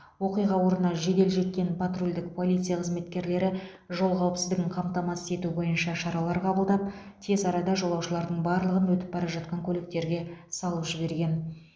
оқиға орнына жедел жеткен патрульдік полиция қызметкерлері жол қауіпсіздігін қамтамасыз ету бойынша шаралар қабылдап тез арада жолаушылардың барлығын өтіп бара жатқан көліктерге салып жіберген